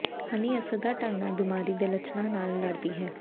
ਹਨੀ ਅਸਰਦਾਰ ਢੰਗ ਨਾਲ ਬਿਮਾਰੀ ਦੇ ਲੱਛਣਾਂ ਨਾਲ ਲੜਦੀ ਹੈ